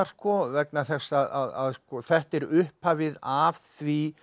vegna þess að þetta er upphafið að því